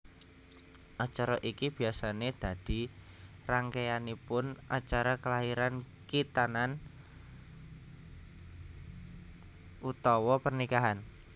Acara iki biasané dadi rangkéyaning acara kelairan khitanan utawa pernikahan